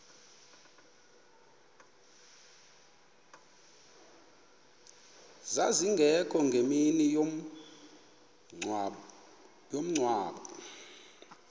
zazingekho ngemini yomngcwabo